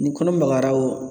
Ni kɔnɔ magayara o